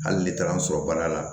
Hali ne taara n sɔrɔ baara la